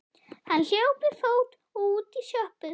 Hann hljóp við fót og út í sjoppu.